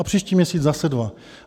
A příští měsíc zase dva.